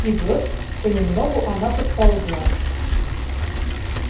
и вот понемногу она подползла